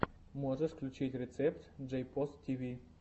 можешь включить рецепт джейпос тв